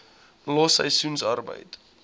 los seisoensarbeid